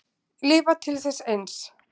Lifa til þess eins.